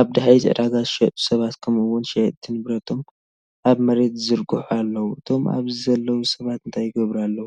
ኣብ ድሕሪት ዕዳጋ ዝሸጡ ሰባት ከምኡ’ውን ሸየጥቲ ንብረቶም ኣብ መሬት ዝዝርግሑ ኣለዉ። እቶም ኣብዚ ዘለዉ ሰባት እንታይ ይገብሩ ኣለዉ?